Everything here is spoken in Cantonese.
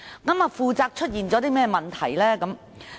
其間出現甚麼問題呢？